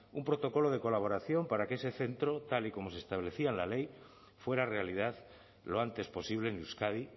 un protocolo de colaboración para que ese centro tal y como se establecía en la ley fuera realidad lo antes posible en euskadi